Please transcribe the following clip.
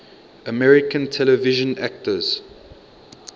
american television actors